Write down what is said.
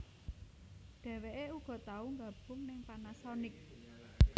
Dheweké uga tau nggabung ning Panasonic